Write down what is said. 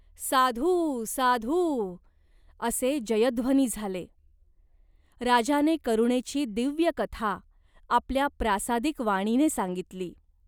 "साधू साधू" असे जयध्वनी झाले. राजाने करुणेची दिव्य कथा आपल्या प्रासादिक वाणीने सांगितली.